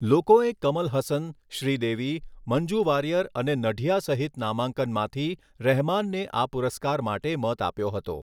લોકોએ કમલ હસન, શ્રીદેવી, મંજૂ વારિયર અને નઢિયા સહિત નામાંકનમાંથી રહેમાનને આ પુરસ્કાર માટે મત આપ્યો હતો.